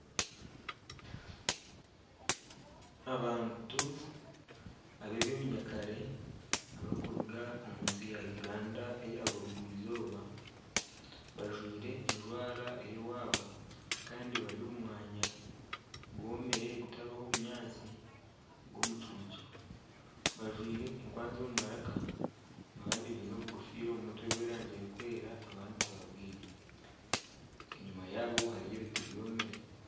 Abantu ab'eby'obunyakare abakuruga omunsi ya Uganda eya burugwa eizooba bajwaire ejwara ey'owaabo kandi bari omu mwanya gwomire gutariho bunyaatsi gw'omucuucu bajwaire enkwanzi omu maraka abandi baine obu gofiira omu mutwe bw'erangi erikwera abandi tibabwaine enyuma yaabo hariyo ebiti byomire.